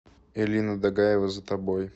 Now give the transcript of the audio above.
элина дагаева за тобой